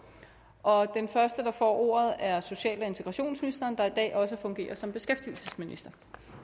og den første der får ordet er social og integrationsministeren der i dag også fungerer som beskæftigelsesminister